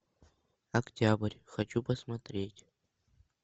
октябрь хочу посмотреть